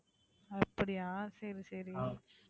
அப்படியா சரி, சரி.